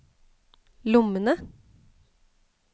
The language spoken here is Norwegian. lommene